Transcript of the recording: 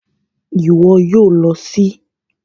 Ìwo yio lo sí